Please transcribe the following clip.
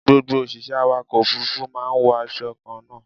Gbogbo òṣìṣẹ́ awàkọ̀ òfúrúfú máa ń wo aṣọ kan náà.